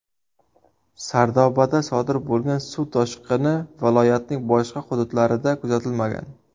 Sardobada sodir bo‘lgan suv toshqini viloyatning boshqa hududlarida kuzatilmagan.